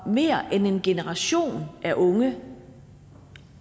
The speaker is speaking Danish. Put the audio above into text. mere end en generation af unge